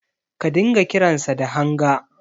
Ka dinga kiransa da Hanga.